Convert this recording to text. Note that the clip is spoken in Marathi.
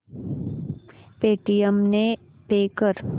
पेटीएम ने पे कर